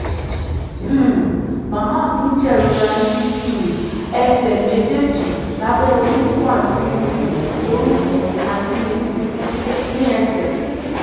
um màmá mi ń jẹ̀rora ní um ẹsẹ̀ méjèèjì lábẹ́ orúnkún àti um orúnkún àti um ní ẹsẹ̀